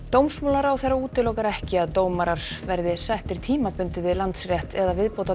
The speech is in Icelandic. dómsmálaráðherra útilokar ekki að dómarar verði settir tímabundið við Landsrétt eða